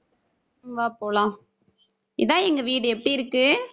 வா போலாம். இதான் எங்க வீடு எப்படி இருக்கு